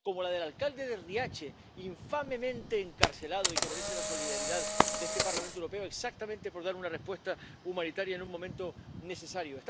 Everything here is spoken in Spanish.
Como la del alcalde de Riace, infamemente encarcelado —y que merece la solidaridad de este Parlamento Europeo— exactamente por dar una respuesta humanitaria en un momento necesario.